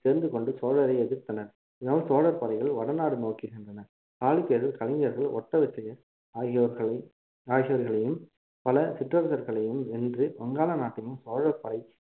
சேர்ந்து கொண்டு சோழரை எதிர்த்தனர் இதனால் சோழர் படைகள் வடநாடு நோக்கி சென்றன சாளக்கியர்கள் கலிங்கர்கள் ஓட்ட விசயர் ஆகியோர்களை ஆகியோர்களையும் பல சிற்றசர்களையும் வென்று வங்காள நாட்டையும் சோழர்படை